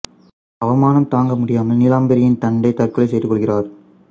அவமானம் தாங்க முடியாமல் நீலாம்பரியின் தந்தை தற்கொலை செய்து கொள்கிறார்